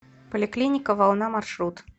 поликлиника волна маршрут